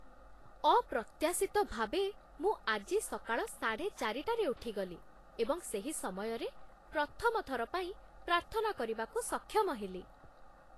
ଅପ୍ରତ୍ୟାଶିତ ଭାବେ ମୁଁ ଆଜି ସକାଳ ସାଢ଼େ ଚାରିଟାରେ ଉଠିଗଲି ଏବଂ ସେହି ସମୟରେ ପ୍ରଥମ ଥର ପାଇଁ ପ୍ରାର୍ଥନା କରିବାକୁ ସକ୍ଷମ ହେଲି।